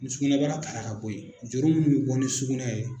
Ni sukunɛbara tara ka bɔ yen juru min bi bɔ ni sugunɛ ye.